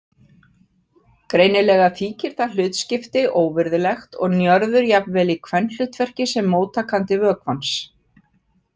Greinilega þykir það hlutskipti óvirðulegt og Njörður jafnvel í kvenhlutverki sem móttakandi vökvans.